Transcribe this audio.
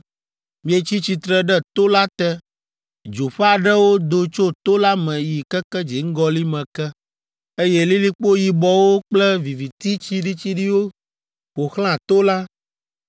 Mietsi tsitre ɖe to la te, dzo ƒe aɖewo do tso to la me yi keke dziŋgɔli me ke, eye lilikpo yibɔwo kple viviti tsiɖitsiɖi ƒo xlã to la.